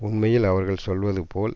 உண்மையில் அவர்கள் சொல்வது போல்